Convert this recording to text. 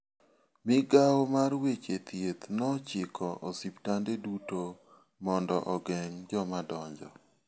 Migawo mar weche thieth nochiko osiptande duto mondo ogeng' jomadonjo.